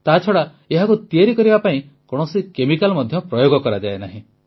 ତାଛଡ଼ା ଏହାକୁ ତିଆରି କରିବା ପାଇଁ କୌଣସି କେମିକାଲ୍ ମଧ୍ୟ ପ୍ରୟୋଗ କରାଯାଏ ନାହିଁ